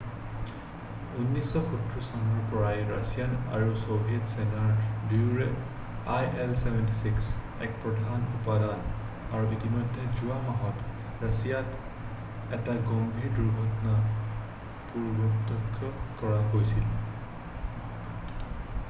1970 চনৰে পৰাই ৰাছিয়ান আৰু ছ'ভিয়েট সেনা দুয়োৰে il-76 এক প্ৰধান উপাদান আৰু ইতিমধ্যেই যোৱা মাহত ৰাছিয়াত এটা গম্ভীৰ দূৰ্ঘটনা প্ৰ্ত্যক্ষ কৰা গৈছিল